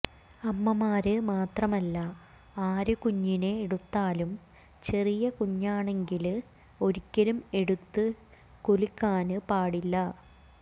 അമ്മമാര് മാത്രമല്ല ആര് കുഞ്ഞിനെ എടുത്താലും ചെറിയ കുഞ്ഞാണെങ്കില് ഒരിക്കലും എടുത്ത് കുലുക്കാന് പാടില്ല